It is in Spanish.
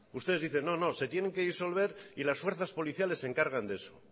ustedes dicen no se tienen que disolver y las fuerzas policiales se encargan de eso